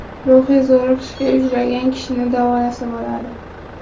Ruhiy zo‘riqishga uchragan kishini davolasa bo‘ladi.